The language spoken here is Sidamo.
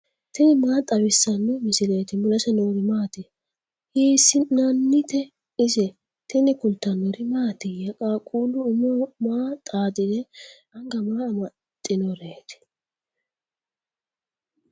tini maa xawissanno misileeti ? mulese noori maati ? hiissinannite ise ? tini kultannori mattiya? qaaqullu umoho maa xaaxidhe anga maa amaxiinnoretti?